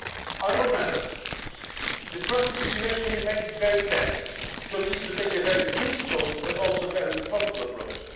Honourable Members, the current situation remains very tense, so we need to take a very principled but also a very responsible approach.